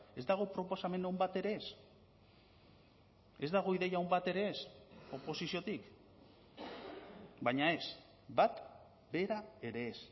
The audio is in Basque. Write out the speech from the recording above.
ez dago proposamen on bat ere ez ez dago ideia on bat ere ez oposiziotik baina ez bat bera ere ez